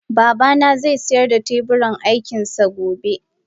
Babana zai sayar da teburin aikin sa gobe